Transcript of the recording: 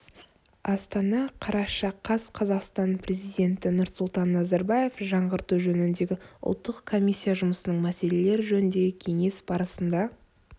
астана қараша қаз қазақстан президенті нұрсұлтан назарбаев жаңғырту жөніндегі ұлттық комиссия жұмысының мәселелері жөніндегі кеңес барысында